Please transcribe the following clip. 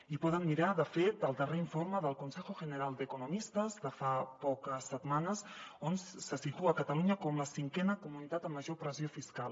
i poden mirar de fet el darrer informe del consejo general de economistas de fa poques setmanes on se situa catalunya com la cinquena comunitat amb major pressió fiscal